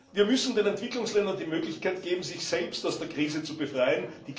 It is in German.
Wir müssen den Entwicklungsländern die Möglichkeit geben, sich selbst aus der Krise zu befreien.